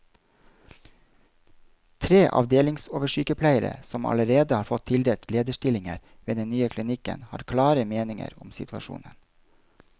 Tre avdelingsoversykepleiere, som allerede har fått tildelt lederstillinger ved den nye klinikken, har klare meninger om situasjonen.